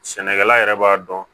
Sɛnɛkɛla yɛrɛ b'a dɔn